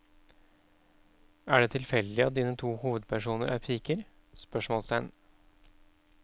Er det tilfeldig at dine to hovedpersoner er piker? spørsmålstegn